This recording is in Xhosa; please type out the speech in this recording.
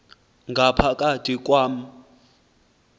ngapha kathi kwam